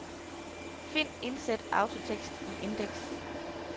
Find indsæt autotekst i indeks.